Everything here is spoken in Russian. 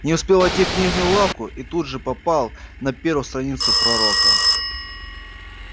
не успел войти книжную лавку и тут же попал на первую страницу пророка